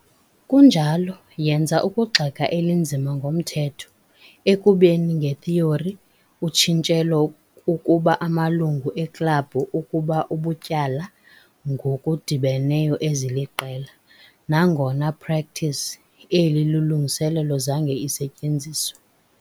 kunjalo, yenza ukugxeka elinzima komthetho, ekubeni nge-theory, utshintshelo ukuba amalungu eklabhu ukuba ubutyala ngokudibeneyo eziliqela, nangona practice, eli lungiselelo zange isetyenziswe.